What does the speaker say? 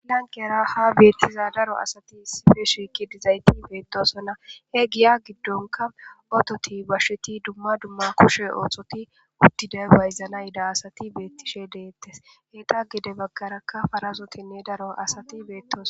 laniqqera haa benitiza darro asati ha shiqidi betosona he giya gidonikka ototi basheti duma duma kushe ossoti utidi bayizanawu yidda assati betishe detesi etappe gedde bagarakka darro assati betosona